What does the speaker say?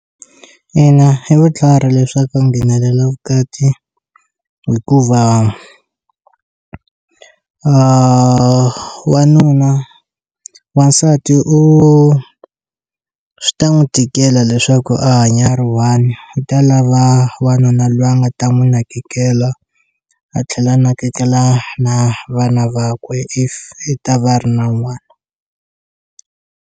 Ina hi vutlhari leswaku nghenelela vukati hikuva wanuna wansati u swi ta n'wi tikela leswaku a hanya a ri 1 u ta lava wanuna lowa a nga ta n'wi nakekela a tlhela a nakekela na vana vakwe if i ta va ri na n'wana.